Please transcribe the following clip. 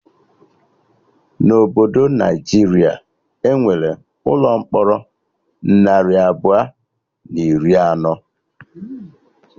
Na obodo Naijiria, Enwere ụlọ mkpọrọ narị abụọ na iri anọ